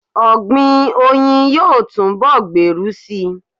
Ọ̀gbìn oyin yóò túnbọ̀ gbèrú síi.